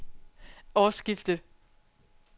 årsskiftet